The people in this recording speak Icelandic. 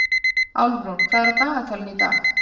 Álfrún, hvað er á dagatalinu í dag?